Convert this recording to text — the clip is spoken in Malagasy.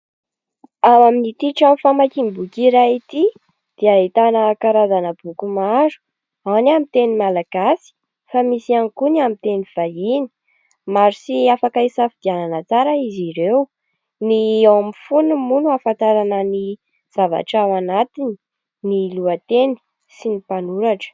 Ao amin'ity trano famakiam-boky iray ity dia ahitana karazana boky maro. Ao ny amin'ny teny malagasy fa misy ihany koa ny amin'ny teny vahiny. Maro sy afaka isafidianana tsara izy ireo. Ny eo amin'ny fonony moa no ahafantarana ny zavatra ao anatiny, ny lohateny sy ny mpanoratra.